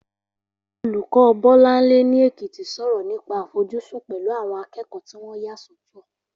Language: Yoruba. Olùkọ́ Bọ́láńlé ní Èkìtì sọ̀rọ̀ nípa àfojúsùn pẹ̀lú àwọn akẹ́kọ̀ọ́ tí wọ́n yà sọ́tọ̀